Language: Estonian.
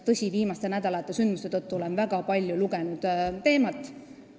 Tõsi, viimaste nädalate sündmuste tõttu olen väga palju teema kohta lugenud.